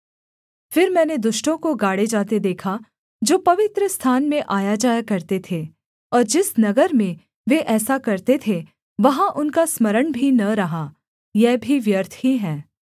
फिर मैंने दुष्टों को गाड़े जाते देखा जो पवित्रस्थान में आयाजाया करते थे और जिस नगर में वे ऐसा करते थे वहाँ उनका स्मरण भी न रहा यह भी व्यर्थ ही है